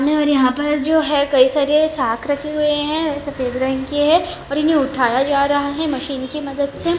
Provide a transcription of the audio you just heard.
और यहां पर जो है कई सारे साक रखे हुए हैं सफेद रंग के हैं और इन्हे उठाया जा रहा है मशीन की मदद से।